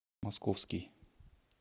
московский